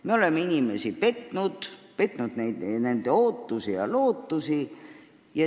Me oleme inimesi petnud – petnud nende ootusi ja lootusi.